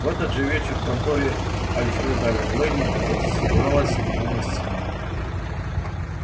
в этот же вечер в конторе альфреда лэннинга разыгралась немая сцена